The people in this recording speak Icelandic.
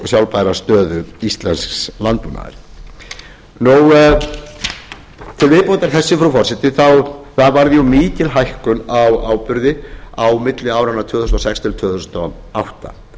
sjálfbæra stöðu íslensks landbúnaðar til viðbótar þessu frú forseti það varð jú mikil hækkun á áburði á milli áranna tvö þúsund og sex til tvö þúsund og átta